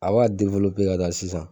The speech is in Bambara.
A b'a ka taa sisan